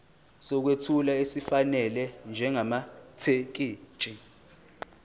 sokwethula esifanele njengamathekisthi